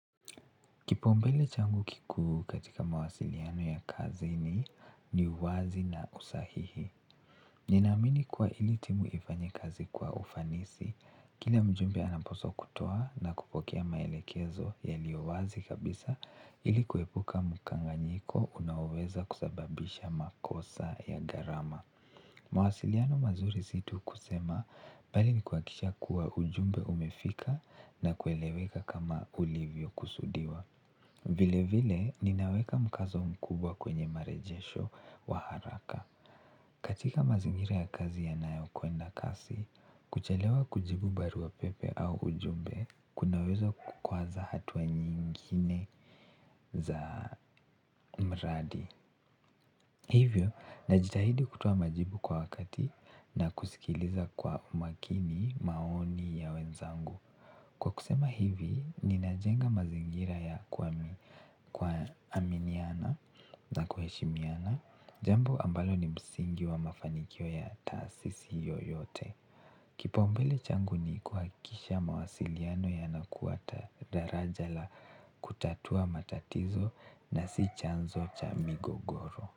Kipsumbele changu kikuu katika mawasiliano ya kazi ni uwazi na usahihi. Ninaamini kuwa ili timu lifanye kazi kwa ufanisi kila mjumbe anapaswa kutoa na kupokea maelekezo yaliyo wazi kabisa ili kuepuka mkanganyiko unaoweza kusababisha makosa ya gharama mawasiliano mazuri si tu kusema bali ni kuhakisha kuwa ujumbe umefika na kueleweka kama ulivyo kusudiwa. Vile vile ninaweka mkazo mkubwa kwenye marejesho wa haraka. Katika mazingira ya kazi yanayo kwenda kasi, kuchelewa kujibu barua pepe au ujumbe kunaweza kukwaza hatua nyingine za mradi. Hivyo, najitahidi kutoa majibu kwa wakati na kusikiliza kwa umakini maoni ya wenzangu. Kwa kusema hivi, ninajenga mazingira ya kwami kuaminiana na kuheshimiana, jambo ambalo ni msingi wa mafanikio ya taasisi yoyote. Kipaumbele changu ni kuhakisha mawasiliano yanakwata daraja la kutatua matatizo na si chanzo cha migogoro.